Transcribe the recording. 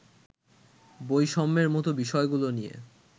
বৈষম্যের মতো বিষয়গুলো নিয়ে